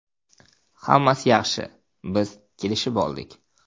Hammasi yaxshi, biz kelishib oldik!